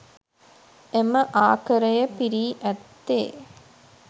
එම ආකරය පිරී ඇත්තේ